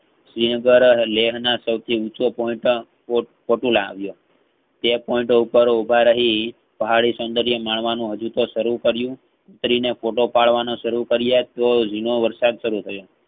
શ્રીનગર લેખના સૌથી ઉંચો point પોટ~પોતું લાવ્યો. તે point ઉપર ઉભા રહી પહાડી સૌંદર્ય માણવાનું હજુતો સારું કર્યું ઉતરીને photo પાડવાના સારું કાર્યા ત્યાં ઝીણો વરસાદ સારું થયો.